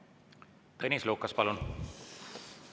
Tõnis Lukas, palun!